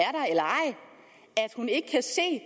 hun ikke kan se